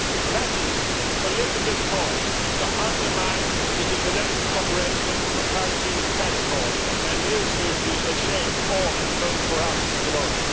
That is political fraud to undermine the international cooperation for fighting tax fraud and you should be ashamed, or vote for us tomorrow.